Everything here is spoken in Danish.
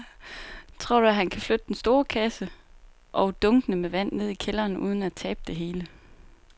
Tror du, at han kan flytte den store kasse og dunkene med vand ned i kælderen uden at tabe det hele?